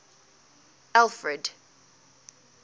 alfred